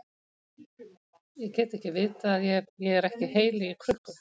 Ég get ekki vitað að ég er ekki heili í krukku.